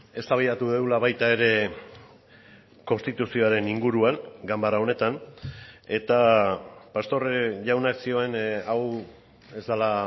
eztabaidatu dugula baita ere konstituzioaren inguruan ganbara honetan eta pastor jaunak zioen hau ez dela